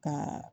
Ka